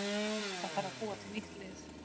Það þarf að búa til nýtt lið.